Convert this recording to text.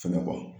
Fɛnɛ kɔ